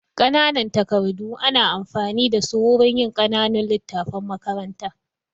Ƙananan takardu ana amfani da su wurin yin ƙananun littattafan makaranta.